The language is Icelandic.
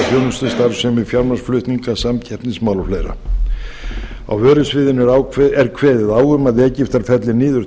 þjónustustarfsemi fjármagnsflutninga samkeppnismál og fleira á vörusviðinu er kveðið á um að egyptar felli niður